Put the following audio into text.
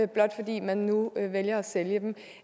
blot fordi man nu vælger at sælge dem